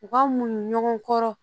U ka munɲu ɲɔgɔn kɔrɔ